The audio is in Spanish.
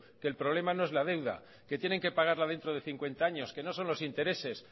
que el problema no es la deuda que tienen que pagarla dentro de cincuenta años que no son los intereses